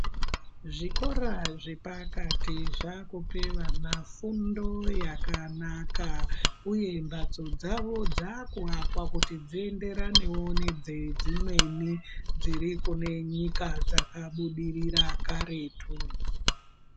Zvikora zvepakati zvakupe vana fundo yakanaka uye mbatso dzavo dzakuakwa kuti dzienderanewo nedzedzimweni dziri kune nyika dzakabudirira karetu.